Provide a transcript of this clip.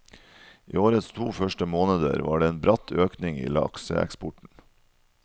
I årets to første måneder var det en bratt økning i lakseeksporten.